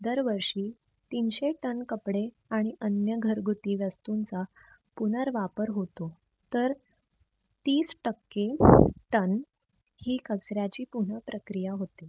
दर वर्षी ताशे TON कपडे आणि अन्य घरघुती वस्तूंचा पुनर्वापर होतो. तर तीस टक्के RON ही कचऱ्याची पुनः प्रक्रिया होते.